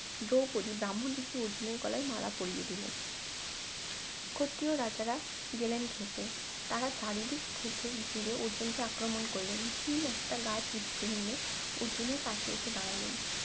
দ্রৌপদী ব্রাহ্মন বেশে অর্জুনের গলায় মালা পরিয়ে দিলেন ক্ষত্রিয় রাজারা গেলেন ক্ষেপে তারা চারিদিক থেকে ঘিরে অর্জুনকে আক্রমণ করলেন ভীম একটা গাছ উপরে নিয়ে অর্জুনের পাশে এসে দাঁড়ালেন